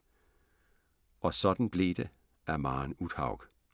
Og sådan blev det af Maren Uthaug